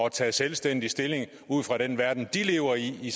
at tage selvstændigt stilling ud fra den verden de lever i i